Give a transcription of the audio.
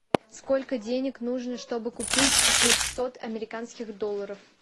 сколько денег нужно чтобы купить шестьсот американских долларов